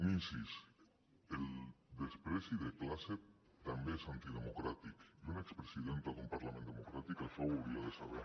un incís el menyspreu de classe també és antidemocràtic i una expresidenta d’un parlament democràtic això ho hauria de saber